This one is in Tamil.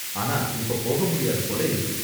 ஆனா இப்ப போக முடியாது போல இருக்கு.